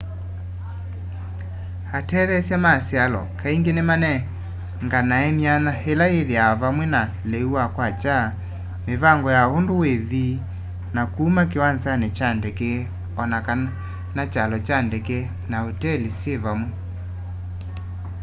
atetheesya ma syalo kaingi ni manenganae myanya ila ithiawa vamwe na liu wa kwakya mivangi ya undu withi na kuma kiwanzani kya ndeke o na kana kyalo kya ndeke na uteli syi vamwe